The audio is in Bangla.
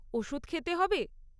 ওষুধ খেতে হবে?